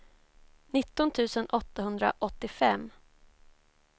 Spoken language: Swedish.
nitton tusen åttahundraåttiofem